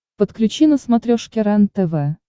подключи на смотрешке рентв